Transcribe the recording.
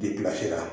Ni bila sera